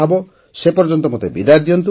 ସେପର୍ଯ୍ୟନ୍ତ ମୋତେ ବିଦାୟ ଦିଅନ୍ତୁ